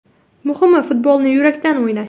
Muhimi, futbolni yurakdan o‘ynash.